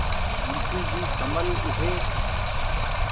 मुंशी जी सँभल उठे